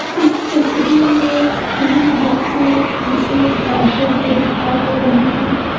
इस तस्वीर में तीन बच्चे मुझे दौड़ते हुए दिखाई दे रहे हैं।